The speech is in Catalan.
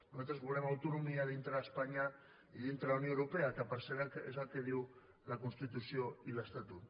nosaltres volem autonomia dintre d’espanya i dintre de la unió europea que per cert és el que diu la constitució i l’estatut